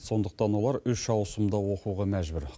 сондықтан олар үш аусымда оқуға мәжбүр